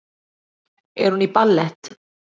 Er hún í ballett?